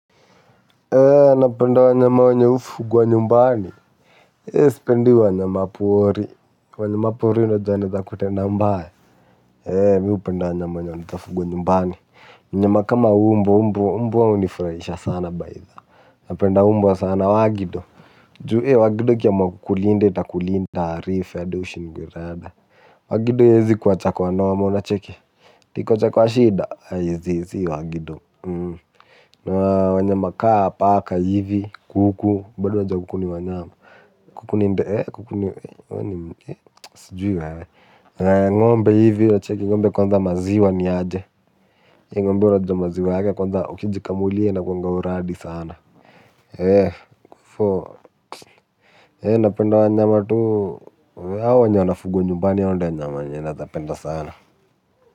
Ee napenda wanyama wenye hufugwa nyumbani ee sipendi wanyama pori wanyama pori unajua wanaeza kutenda mbaya. Ee mi hupenda wanyama wenye wanaeza fugwa nyumbani. Wanyama kama mbwa. Mbwa hunifurahisha sana bytha. Napenda mbwa sana wagido ju ee wagido ikiamua kukulinda itakulinda arif hadi ushindwe rada. Wagido haiezi kuacha kwa noma unacheki. Ati ikuache kwa shida? Haiezi, si wagido wanyama kaa paka hivi, kuku bado unajua kuku ni wanyama. Kuku ni sijui wewe. Ng'ombe hivi unacheki, ng'ombe kwanza maziwa ni aje ng'ombe unajua maziwa yake kwanza ukijikamulia inakuanga uradi sana. Ee napenda wanyama tu hawa wenye wanafugwa nyumbani hao ndio wanyama wenye naezapenda sana.